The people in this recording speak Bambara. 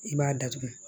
I b'a datugu